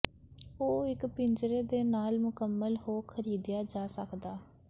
ਉਹ ਇੱਕ ਪਿੰਜਰੇ ਦੇ ਨਾਲ ਮੁਕੰਮਲ ਹੋ ਖਰੀਦਿਆ ਜਾ ਸਕਦਾ ਹੈ